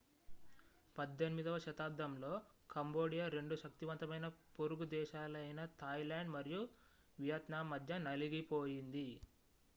18వ శతాబ్దంలో కంబోడియా రెండు శక్తివంతమైన పొరుగు దేశాలైన థాయిలాండ్ మరియు వియత్నాం మధ్య నలిగిపోయింది